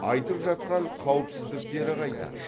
айтып жатқан қауіпсіздіктері қайда